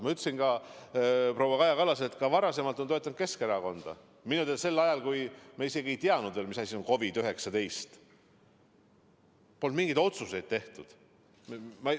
Ma ütlesin ka proua Kaja Kallasele, et ta on varemgi Keskerakonda toetanud, minu teada ka sel ajal, kui me isegi ei teadnud veel, mis asi on COVID-19, ja polnud mingeid otsuseid tehtud.